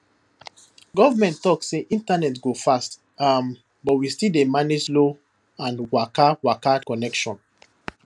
government talk say internet go fast um but we still dey manage slow and wakawaka connection